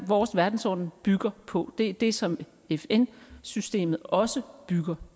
vores verdensorden bygger på det er det som fn systemet også bygger